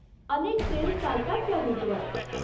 अनेक ट्रेन्स चालतात त्या रूट वर.